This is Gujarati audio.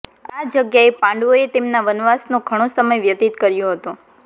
આ જગ્યાએ પાંડવોએ તેમના વનવાસનો ઘણો સમય વ્યતીત કર્યો હતો